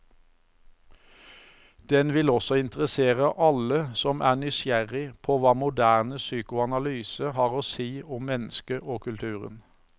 Den vil også interessere alle som er nysgjerrig på hva moderne psykoanalyse har å si om mennesket og kulturen.